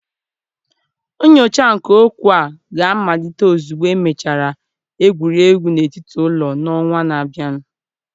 Nyocha nke okwu a ga-amalite ozugbo emechara egwuregwu n'etiti ụlọ n'ọnwa na-abịa.